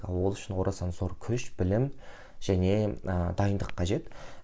ал ол үшін орасан зор күш білім және ыыы дайындық қажет